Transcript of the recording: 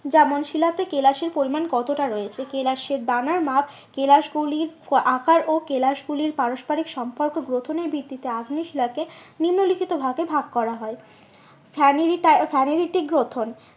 যেমন শিলাতে কেলাসের পরিমান কতটা রয়েছে? কেলাসে দানার মাপ কেলাস গুলির আকার ও কেলাস গুলির পারস্পরিক সম্পর্ক গ্রথনের ভিত্তিতে আগ্নেয় শিলাকে নিম্নলিখিত ভাবে ভাগ করা হয়। গ্রথন